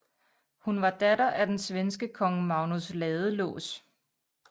Hun var datter af den svenske kong Magnus Ladelås